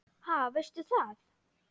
Ha, veistu það?